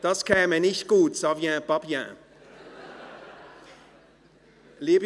Das käme nicht gut – ça vient pas bien !